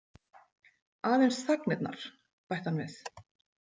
Aðeins þagnirnar, bætti hann við.